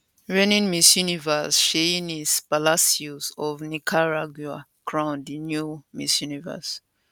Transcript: reigning miss universe sheynnis palacios of nicaragua crown di new miss universe